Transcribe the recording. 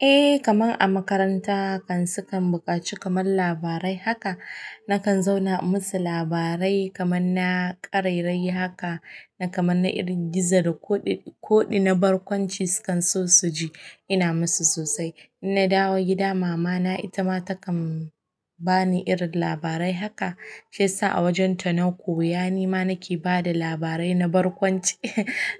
Eh, kamar a makaranta kan sukan buƙaci kamar labarai. Haka na kan zauna in musu labarai kamar na ƙarairayi, haka na kamar na irin gizo da koɗi, koɗi na barkwanci sukan so su ji. Ina musu sosai. In na dawo gida, mama na ita ma takan bani irin labarai. Haka shiyasa awajen ta na koya yani ma nake ba da labarai na barkwanci,